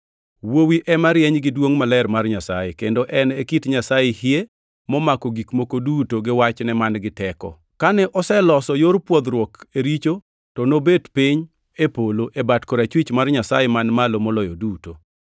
Wuowi ema rieny gi duongʼ maler mar Nyasaye, kendo en e kit Nyasaye hie momako gik moko duto gi wachne man-gi teko. Kane oseloso yor pwodhruok e richo to nobet piny e polo, e bat korachwich mar Nyasaye Man Malo Moloyo duto.